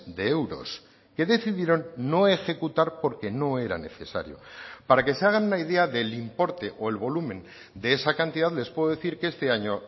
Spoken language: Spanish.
de euros que decidieron no ejecutar porque no eran necesario para que se hagan una idea del importe o el volumen de esa cantidad les puedo decir que este año